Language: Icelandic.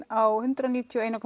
á hundrað níutíu og ein